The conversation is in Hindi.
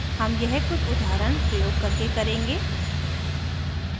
हम यह कुछ उदाहरण प्रयोग करके करेंगे